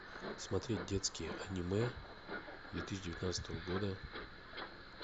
смотреть детские аниме две тысячи девятнадцатого года